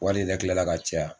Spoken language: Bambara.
Wari yɛrɛ kila la ka caya.